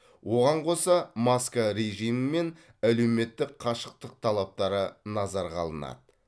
оған қоса маска режимі және әлеуметтік қашықтық талаптары назарға алынады